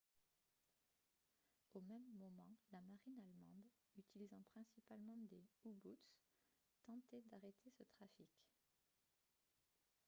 au même moment la marine allemande utilisant principalement des u-boots tentait d'arrêter ce trafic